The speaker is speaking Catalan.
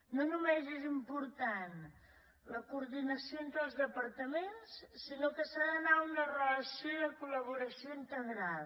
no només és important la coordinació entre els departaments sinó que s’ha d’anar a una relació de col·laboració integrada